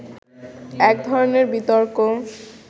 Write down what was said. এক ধরনের বিতর্ক